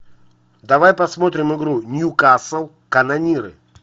давай посмотрим игру ньюкасл канониры